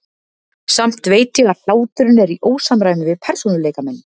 Samt veit ég að hláturinn er í ósamræmi við persónuleika minn.